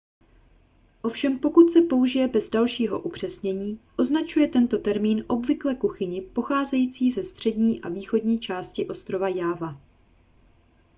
ovšem pokud se použije bez dalšího upřesnění označuje tento termín obvykle kuchyni pocházející ze střední a východní části ostrova jáva